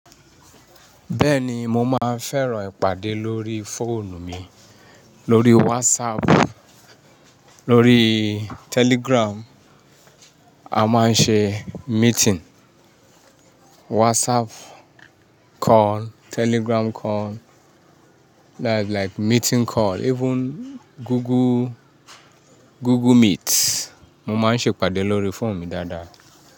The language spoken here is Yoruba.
Bẹ́ẹ̀ni mo máa ń fẹ́ràn ìpàdé lórí fóònù mi, lórí WhatsApp, lórí Telegram, a máa ń ṣe meeting, WhatsApp call, Telegram call, that's like meeting call, even Google, Google Meet. Mo máa ń ṣe ìpàdé lórí fóònù mi dáadáa.